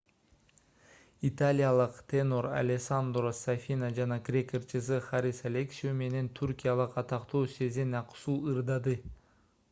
италиялык тенор алессандро сафина жана грек ырчысы харис алексиу менен түркиялык атактуу сезен аксу ырдады